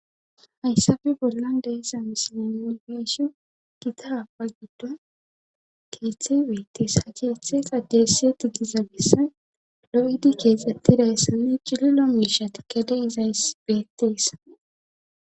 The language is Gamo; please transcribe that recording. hayssafe bollan de'iza misilan yongeesho gita haba giddo keeththe beettees ha keeththe qadeessiye ti giza bessa lo7idi keexxettidayssanne cililo miisha tikkade izays beetteesa